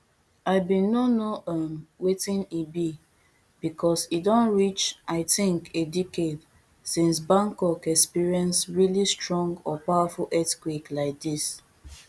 i bin no know know um wetin e be becos e don reach i tink a decade since bangkok experience really strong or powerful earthquake like dis